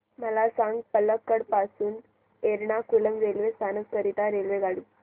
मला सांग पलक्कड पासून एर्नाकुलम रेल्वे स्थानक करीता रेल्वेगाडी